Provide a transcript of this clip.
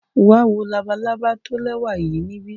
Wa wo labalaba lẹwa yii nibi.